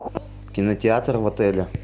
кинотеатр в отеле